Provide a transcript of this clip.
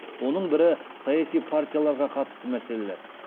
оның бірі саяси партияларға қатысты мәселелер